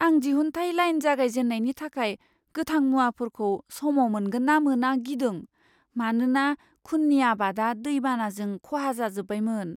आं दिहुनथाय लाइन जागायजेन्नायनि थाखाय गोथां मुवाफोरखौ समाव मोनगोन ना मोना गिदों, मानोना खुननि आबादा दै बानाजों खहा जाजोबबायमोन।